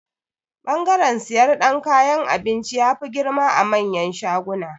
Bangaren siyar dan kayan abinci, ya fi girma a manyan shaguna.